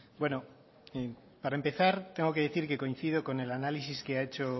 bueno para empezar tengo que decir que coincido con el análisis que ha hecho